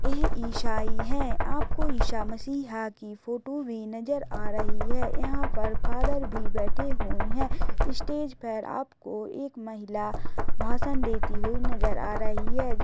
यह ईसाई है आपको ईशा मशीहा की फोटो भी नजर आ रही है यहाँ पर फादर भी बैठे हुए है स्टेज पर आपको एक महिला भाषण देती हुई नजर आ रही है।